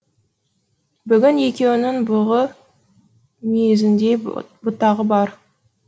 бүгін екеуінің бұғы мүйізіндей бұтағы бар